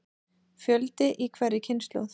Fjöldi í hverri kynslóð.